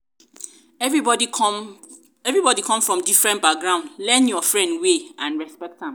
everybody come from different background learn your friend way and respect am